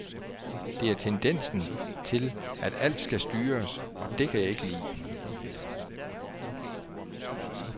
Det er tendensen til at alt skal styres, og det kan jeg ikke lide.